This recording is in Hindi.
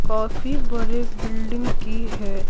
काफी बड़े बिल्डिंग की है।